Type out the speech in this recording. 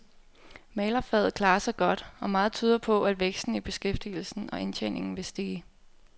Malerfaget klarer sig godt, og meget tyder på, at væksten i beskæftigelsen og indtjeningen vil stige.